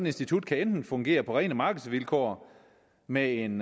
institut kan enten fungere på rene markedsvilkår med en